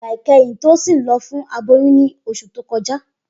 Igba ikẹhin Tosin lọ fun aboyun ni oṣu to kọja.